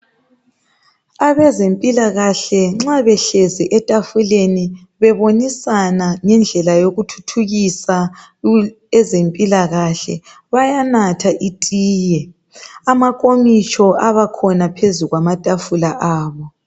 Abezempila kahle nxa behlezi etafuleni bebonisana ngendlela yokuthuthukisa ezempila kahle bayanatha itiye amankomitsho abakhona phezu kwamatafula abo